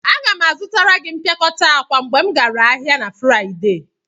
Aga m azụtara gị mpịakọta akwa mgbe m gara ahịa na Fraịde.